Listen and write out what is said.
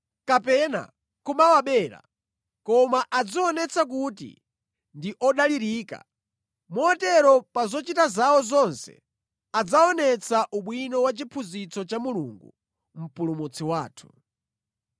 kapena kumawabera, koma adzionetse kuti ndi odalirika, motero pa zochita zawo zonse adzaonetsa ubwino wa chiphunzitso cha Mulungu, Mpulumutsi wathu.